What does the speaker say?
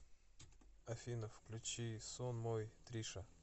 афина включи сон мой триша